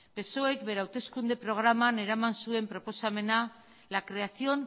psoek bere hauteskunde programan eraman zuen proposamena la creación